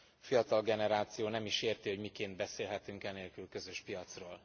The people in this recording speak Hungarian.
A fiatal generáció nem is érti, hogy miként beszélhetünk e nélkül közös piacról.